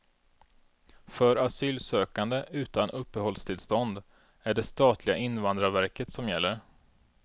För asylsökande, utan uppehållstillstånd, är det statliga invandrarverket som gäller.